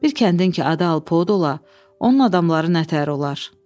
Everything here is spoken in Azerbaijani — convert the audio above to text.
Bir kəndin ki, adı Alpod ola, onun adamları nə təhər olar?